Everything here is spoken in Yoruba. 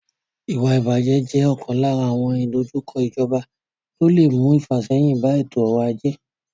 Ìwà ìbàjẹ́ jẹ́ ọ̀kan lára àwọn ìdojúkọ ìjọba tó lè mú ìfàsẹ́yìn bá ètò ọrọ̀ ajé.